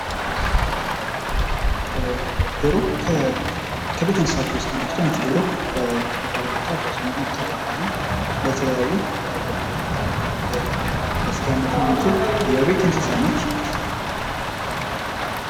ዶሮ ከቤት እንስሳት ውስጥ አንዷ ስትሆን ይቺ ዶሮ እንቁላል በመጣል ጫጭቶቿን ምታራባ እና ለተለያዩ አገልግሎቶች ለስጋነት የምትውል የቤት እንስሳ ነች ።